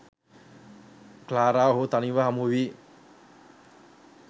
Clara ඔහුව තනිව හමුවී